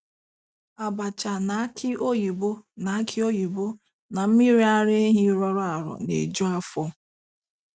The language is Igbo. Abacha na aki oyibo na aki oyibo na mmiri ara ehi rọrọ arọ na-eju afọ.